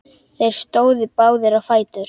Þeir stóðu báðir á fætur.